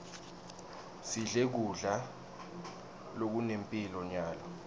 sidle kudla lokunemphilo nyalo